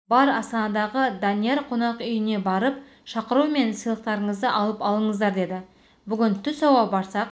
бар астанадағы данияр қонақүйіне барып шақыру мен сыйлықтарыңызды алып алыңыздар деді бүгін түс ауа барсақ